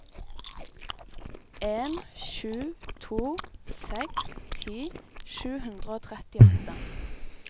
en sju to seks ti sju hundre og trettiåtte